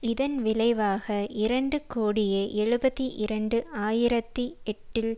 இதன் விளைவாக இரண்டு கோடியே எழுபத்தி இரண்டு ஆயிரத்தி எட்டில்